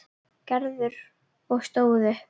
Gerður og stóð upp.